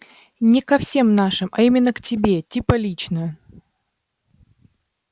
не ко всем вашим а именно к тебе типо лично